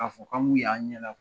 K'a fɔ k'an b'u ye an ɲɛna